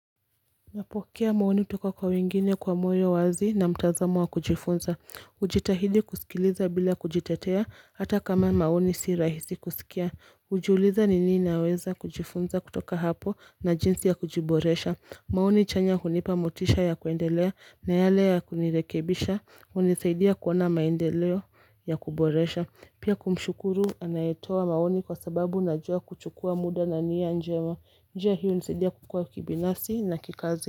Napokea maoni kutoka kwa wengine kwa moyo wazi na mtazamo wa kujifunza. Hujitahidi kusikiliza bila kujitetea, hata kama maoni si rahisi kusikia. Hujiuliza ni nini naweza kujifunza kutoka hapo na jinsi ya kujiboresha. Maoni chanya hunipa motisha ya kuendelea na yale ya kunirekebisha. Hunisaidia kuona maendeleo ya kuboresha. Pia kumshukuru anayetoa maoni kwa sababu najua kuchukua muda na nia njema njia hii hunisaidia kukua kibinasfi na kikazi.